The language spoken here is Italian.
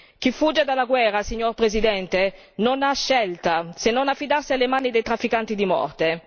Chi fugge dalla guerra, signor Presidente, non ha scelta, se non affidarsi alle mani dei trafficanti di morte